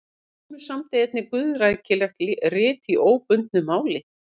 Hallgrímur samdi einnig guðrækileg rit í óbundnu máli.